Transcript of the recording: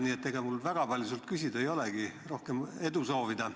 Nii et ega mul väga palju sult küsida ei olegi, rohkem edu soovida.